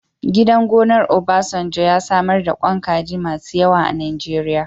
Gidan gonar Obasanjo ya samar da ƙwan kaji masu yawa a Najeriya.